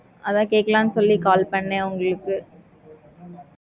அத கேட்கலாம் சொல்லி call பண்னேன் உங்களுக்கு